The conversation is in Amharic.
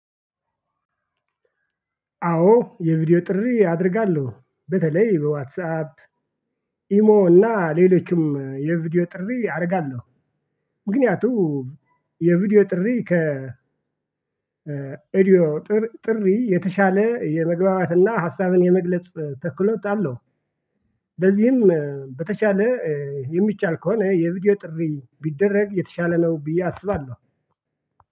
አዎ የቪዲዮ ጥሪ አደርጋለሁ በተለይ በዋትሳፕ ኢሞ እና ሌሎችም የቪዲዮ ጥሪ አደርጋለሁ። ምክያቱም የቪዲዮ ጥሪ ከ ኤዲዮ ጥሪ የተሻለ የመግባባትና ሀሳብን የመግለጽ ተክሎት አለው። በዚህም በተቻለ የሚቻል ከሆነ የቪዲዮ ጥሪ ቢደረግ የተሻለ ነው ብዬ አስባለሁ።